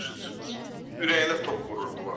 Düz ürəyinə tok vururdular.